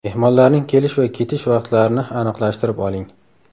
Mehmonlarning kelish va ketish vaqtlarini aniqlashtirib oling!